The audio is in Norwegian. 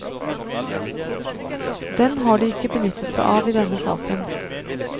Den har de ikke benyttet seg av i denne saken.